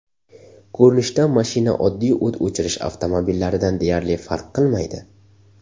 Ko‘rinishdan mashina oddiy o‘t o‘chirish avtomobillaridan deyarli farq qilmaydi.